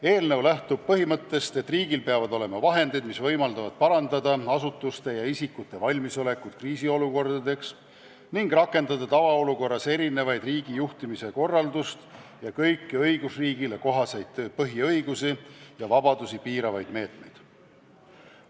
Eelnõu lähtub põhimõttest, et riigil peavad olema vahendid, mis võimaldavad parandada asutuste ja isikute valmisolekut kriisiolukordadeks ning rakendada tavaolukorrast erinevat riigijuhtimise korraldust ja kõiki õigusriigile kohaseid põhiõigusi ja -vabadusi piiravaid meetmeid.